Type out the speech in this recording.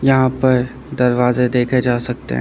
यहां पर दरवाजे देखे जा सकते हैं।